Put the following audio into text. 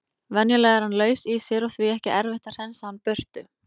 Venjulega er hann laus í sér og því ekki erfitt að hreinsa hann burtu.